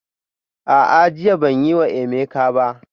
A'a, jiya ban yi wa Emeka ba